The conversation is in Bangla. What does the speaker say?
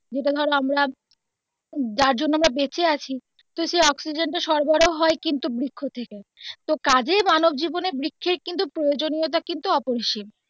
যেটা ধরো আমরা যার জন্য আমরা বেঁচে আছি সেই অক্সিজেন কিন্তু সরবরাহ হয় কিন্তু বৃক্ষ থেকে তো কাজেই মানব জীবনে বৃক্ষের কিন্তু প্রয়োজনীয়তা কিন্তু অপিরিসীম.